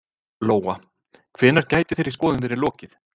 Lóa: Hvenær gæti þeirri skoðun verið lokið?